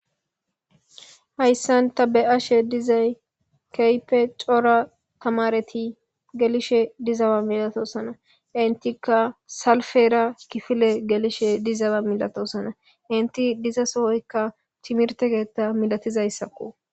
hayssan ta be7ashe dizay keype cora tamareti gelishe dizawa milatosana intika salfera kifile gelishe dizawa milatosana inti diza sohoykka timirtegeta milatizayssakko